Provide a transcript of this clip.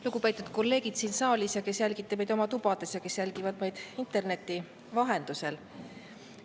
Lugupeetud kolleegid siin saalis ja kes te jälgite meid oma tubades ja inimesed, kes jälgivad meid interneti vahendusel!